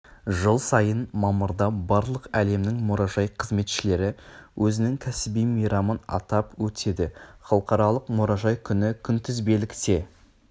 жыл сайын мамырда барлық әлемнің мұражай қызметшілері өзінің кәсіби мейрамын атап өтеді халықаралық мұражай күні күнтізбелікте